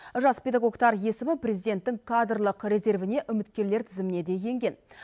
жас педагогтар есімі президенттің кадрлық резервіне үміткерлер тізіміне де енген